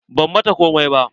Ban mata komai ba.